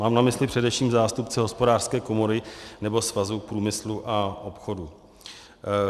Mám na mysli především zástupce Hospodářské komory nebo Svazu průmyslu a obchodu.